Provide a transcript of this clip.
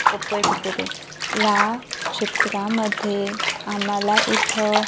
Oppo A fifty two या चित्रामध्ये आम्हाला इथं--